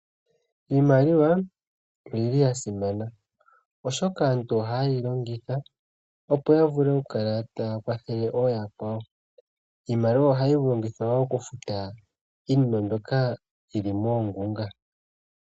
Iimaliwa oya simana, oshoka aantu ohaye yi longitha, opo ya vule okukala taya kwathele ooyakwawo. Iimaliwa ohayi longithwa woo okufuta iinima mbyoka yi li moongunga.